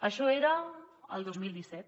això era el dos mil disset